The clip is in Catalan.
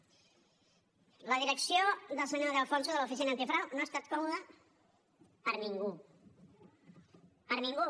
la direcció del senyor de alfonso de l’oficina antifrau no ha estat còmoda per a ningú per a ningú